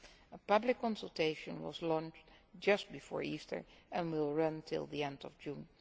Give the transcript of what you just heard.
A public consultation was launched just before Easter and will run until the end of June.